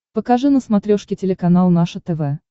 покажи на смотрешке телеканал наше тв